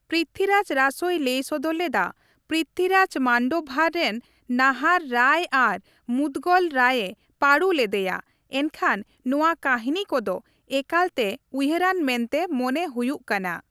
ᱯᱨᱤᱛᱷᱤᱨᱟᱡᱽ ᱨᱟᱥᱳᱭ ᱞᱟᱹᱭ ᱥᱚᱫᱚᱨ ᱞᱮᱫᱟ, ᱯᱨᱤᱛᱷᱤᱨᱟᱡᱽ ᱢᱟᱱᱰᱳᱵᱷᱟᱨ ᱨᱮᱱ ᱱᱟᱦᱟᱨ ᱨᱟᱭ ᱟᱨ ᱢᱩᱫᱽᱜᱚᱞ ᱨᱟᱭᱮ ᱯᱟᱹᱰᱩ ᱞᱮᱫᱮᱭᱟ, ᱮᱱᱠᱷᱟᱱ ᱱᱚᱣᱟ ᱠᱟᱹᱦᱤᱱᱤ ᱠᱚᱫᱚ ᱮᱠᱟᱞᱛᱮ ᱩᱭᱦᱟᱹᱨᱟᱱ ᱢᱮᱱᱛᱮ ᱢᱚᱱᱮ ᱦᱩᱭᱦᱜ ᱠᱟᱱᱟ ᱾